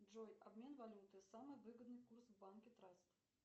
джой обмен валюты самый выгодный курс в банке траст